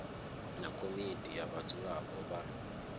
na komiti ya vhadzulapo vha